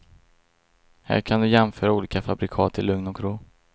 Här kan du jämföra olika fabrikat i lugn och ro.